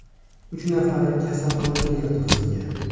Uch nafari kasalxonaga yotqizilgan.